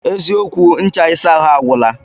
Eziokwu, ncha isa ahụ agwụla